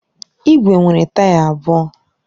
Igwe nwere taya abụọ.